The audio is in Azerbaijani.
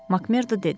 Makmerdo dedi.